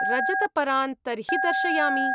रजतपरान् तर्हि दर्शयामि।